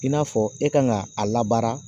I n'a fɔ e kan ka a labaara